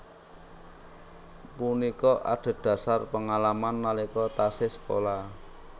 Punika adhedhasar pengalaman nalika taksih sekolah